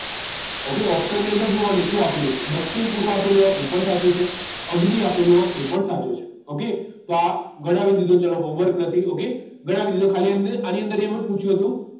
Okay option ની અંદર જોવાનું શું આપેલું છે દક્ષિણ પૂર્વ આપેલું હોય એ પણ સાચું છે અગ્નિ આપેલું હોય એ પણ સાચો છે okay તો આ ગણાવી દીધો ચલો homework નથી ok ગણાવી દીધો ખાલી આ આની અંદર એમ જ પૂછ્યું હતું